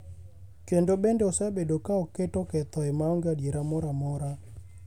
kendo bende osebedo ka oketo kethoi maonge adier moro amora.